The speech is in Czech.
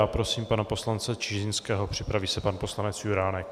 Já prosím pana poslance Čižinského, připraví se pan poslanec Juránek.